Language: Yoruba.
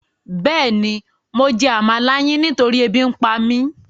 Béèni mo jẹ́ àmalà yin nitori ébi ǹpa mi